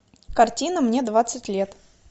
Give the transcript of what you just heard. картина мне двадцать лет